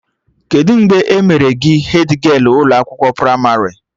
Kedụ mgbe e mere gị hedgialụ n'ụlọ akwụkwọ pramarị?